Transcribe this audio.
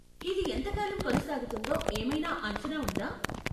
ఇది ఎంతకాలం కొనసాగుతుందో ఏమైనా అంచనా ఉందా?